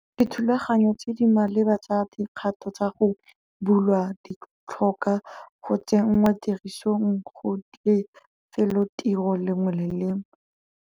Dithulaganyo tse di maleba tsa dikgato tsa go bulwa di tlhoka go tsenngwa tirisong go lefelotiro lengwe le lengwe.